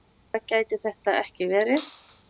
Skýrara gæti þetta ekki verið.